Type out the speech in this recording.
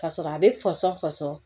Ka sɔrɔ a bɛ fasa fasɔn